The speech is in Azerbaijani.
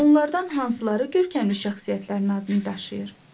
Onlardan hansıları görkəmli şəxsiyyətlərin adını daşıyır?